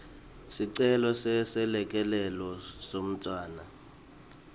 sicelo seselekelelo semntfwana